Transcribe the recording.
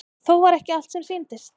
Þó var ekki allt sem sýndist.